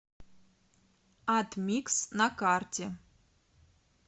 атмикс на карте